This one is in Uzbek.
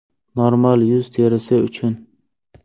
Normal yuz terisi uchun .